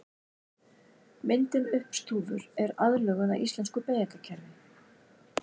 Myndin uppstúfur er aðlögun að íslensku beygingarkerfi.